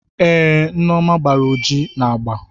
Ee, Neoma gbara ojii na agba.